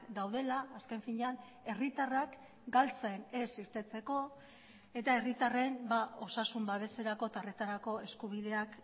daudela azken finean herritarrak galtzen ez irteteko eta herritarren osasun babeserako eta horretarako eskubideak